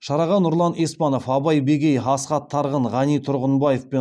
шараға нұрлан еспанов абай бегей асхат тарғын ғани тұрғынбаев пен